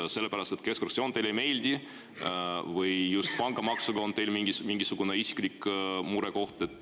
Kas sellepärast, et keskfraktsioon teile ei meeldi või on teil just pangamaksuga mingisugune isiklik murekoht?